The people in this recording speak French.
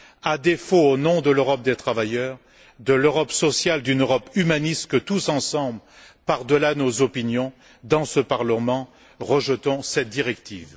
À défaut, c'est au nom de l'Europe des travailleurs, de l'Europe sociale, d'une Europe humaniste que tous ensemble, par delà nos opinions, dans ce Parlement, nous rejetons cette directive.